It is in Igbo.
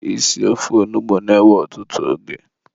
isi ofe onugbu na-ewe ọtụtụ oge.